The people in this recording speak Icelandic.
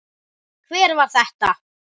Hver var þetta?